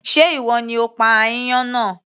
Sé ìwọ ni o pa aáyán náà